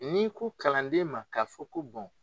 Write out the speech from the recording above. N'i ko kalanden ma k'a fɔ ko bɔn